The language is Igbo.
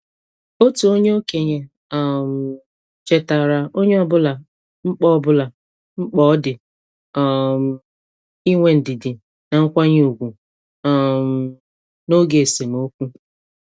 Otu okenye um chetaara onye ọbụla mkpa ọbụla mkpa ọ dị um inwe ndidi na nkwanye ùgwù um n' oge esemokwu.